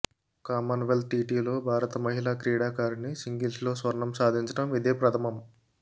Commonwealth టిటిలో భారత మహిళా క్రీడాకారిణి సింగిల్స్లో స్వర్ణం సాధించడం ఇదే ప్రథమం